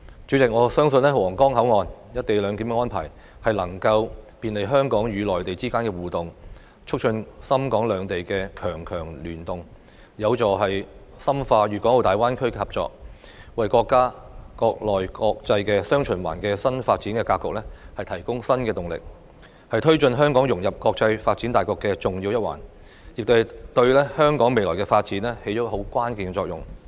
主席，我相信皇崗口岸"一地兩檢"安排能夠便利香港與內地之間的互動，促進深港兩地強強聯動，有助深化粵港澳大灣區的合作，為國家"國內國際雙循環"的新發展格局提供新動力，是推動香港融入國際發展大局的重要一環，亦對香港未來發展起着關鍵作用。